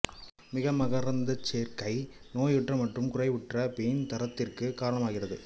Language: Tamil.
மிகைமகரந்தச் சேர்க்கை நோயுற்ற மற்றும் குறைவுற்ற பீன் தரத்திற்கு காரணமாகிறது